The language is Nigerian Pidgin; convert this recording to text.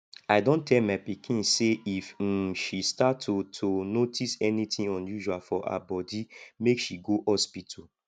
i don tell my pikin say if um she start to to notice anything unusual for her body make she go hospital